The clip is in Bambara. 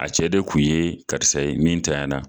A cɛ de kun ye karisa ye, min ntaya na.